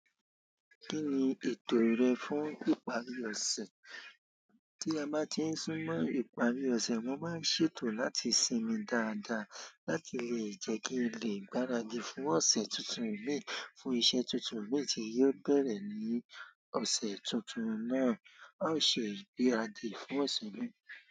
Kí ni ètò rẹ fún ìparí ọ̀sẹ̀? Tí a bá ti ń sún mọ́ ìparí ọ̀sẹ̀, mo máa ń ṣètò láti sinmi dáadáa láti lè jẹ́ kí n lè gbáradì fún ọ̀sẹ̀ tuntun mi fún iṣẹ́ tuntun mi tí yóò bẹ̀rẹ̀ ní ọ̀sẹ̀ tuntun náà. A ó se ìgbáradì fún ọ̀sẹ̀ mii.